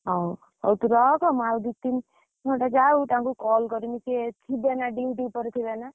ହଉ, ହଉ ତୁ ରଖ, ଆଉ ଦି ତିନି ଘଣ୍ଟା ଯଉ ତାଙ୍କୁ କଲ କରିମି, ସେ ଥିବେ ନା duty ଉପରେ ଥିବେ ନା।